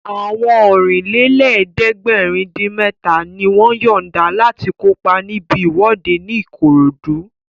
Àwọn Ọ̀rìnlélẹ̀ẹ́dẹ́gbèrin-dín-mẹ́ta ni wọ́n yọ̀nda láti kópa níbi ìwọ́de ní Ìkòròdú